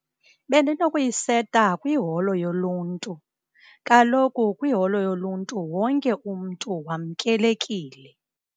Bendinokuyiseta kwiholo yoluntu, kaloku kwiholo yoluntu wonke umntu wamkelekile.